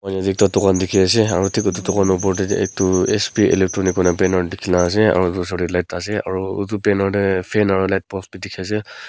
ekta dukhan dekhe ase aro thik etu dukhan opor dae etu SP Electronics koina banner dekhe nah ase aro etu osor dae light ase aro utu banner dae fan aro light post bhi dekhe ase.